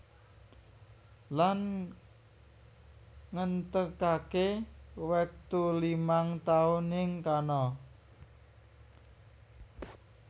Lan ngentèkaké wektu limang taun ing kana